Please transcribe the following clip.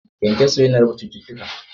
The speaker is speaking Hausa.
Kyankyaso ya na raba cututtuka